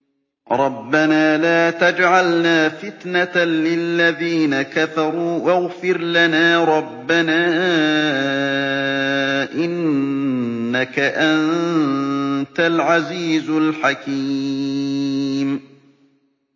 رَبَّنَا لَا تَجْعَلْنَا فِتْنَةً لِّلَّذِينَ كَفَرُوا وَاغْفِرْ لَنَا رَبَّنَا ۖ إِنَّكَ أَنتَ الْعَزِيزُ الْحَكِيمُ